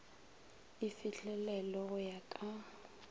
e fihlelelwe go ya ka